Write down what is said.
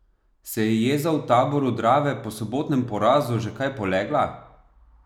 Se je jeza v taboru Drave po sobotnem porazu že kaj polegla?